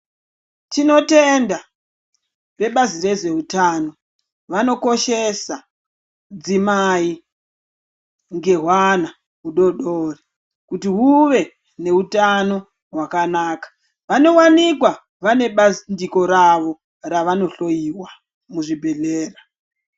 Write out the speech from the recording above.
Tinotenda vebazi rezveutano, vanokoshesa dzimai ngehwana hudodiri kuti huve neutano hwakanaka, vanowanikwa vanowanikwa vane bandiko ravo ravanohloiwa muzvibhedhlera.